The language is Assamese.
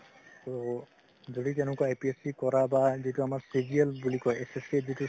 ত যদি কেনেকুৱা APSC কৰা বা যিতো আমাৰ বুলি কয় SSC ৰ যিতো